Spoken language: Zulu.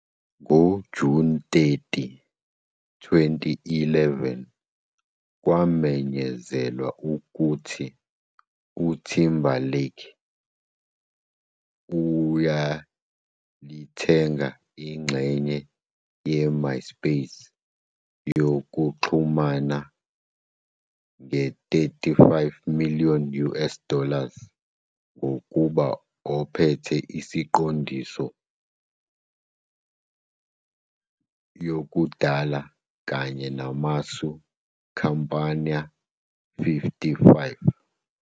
Ngo-June 30, 2011, kwamenyezelwa ukuthi Timberlake ayelithenge ingxenye MySpac yokuxhumana ye 35 million US dollars, ngokuba ophethe isiqondiso yokudala kanye namasu compañía.55